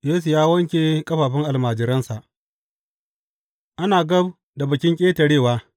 Yesu ya wanke ƙafafun almajiransa Ana gab da Bikin Ƙetarewa.